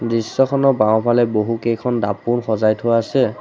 দৃশ্যখনৰ বাওঁফালে বহুকেইখন দাপোন সজাই থোৱা আছে।